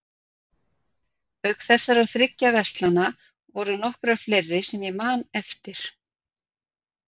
Auk þessara þriggja verslana voru nokkrar fleiri sem ég man eftir.